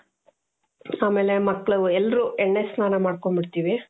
ಆಮೇಲೆ ಮಕ್ಳು ಎಲ್ರೂ ಎಣ್ಣೆ ಸ್ನಾನ ಮಾಡ್ಕೊಂಡ್ ಬಿಡ್ತೀವಿ.